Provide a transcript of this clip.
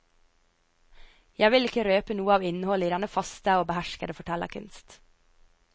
Jeg vil ikke røpe noe av innholdet i denne faste og beherskede fortellerkunst.